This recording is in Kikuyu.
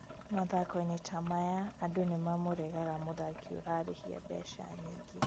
mathako-inĩ ta maya andũ nimamũregaga mũthaki ũrarĩhia mbeca nyingĩ